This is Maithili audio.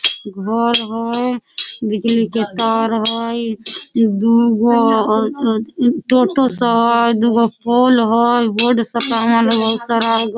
घर हई बिजली के तार हई दू गो टोटो सवार दू गो पोल हई सामान हई बहुत सारा --